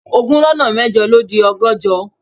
Ogún lọ́nà mẹ́jọ ló di ọgọ́jọ